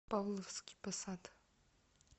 павловский посад